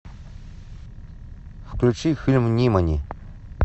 включи фильм нимани